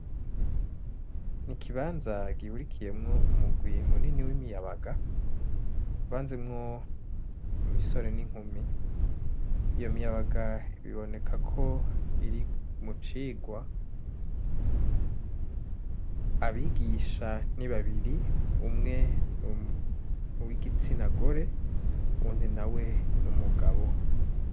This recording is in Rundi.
Ikibanza gihurikiyemwo umugwi munini w'imiyabaga, kivanzemwo imisore n'inkumi. Iyo miyabaga biboneka ko iri mu cigwa. Abigisha ni babiri, umwe ni uw'igitsina gore, uwundi nawe ni umugabo.